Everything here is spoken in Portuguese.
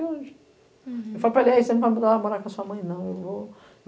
Hm. Uhum. Eu falei para ele, ei você não vai morar com a sua mãe, não. Eu vou